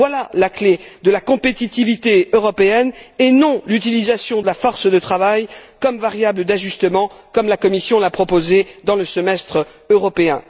Voilà la clé de la compétitivité européenne et non l'utilisation de la force de travail comme variable d'ajustement, comme la Commission l'a proposé dans le semestre européen.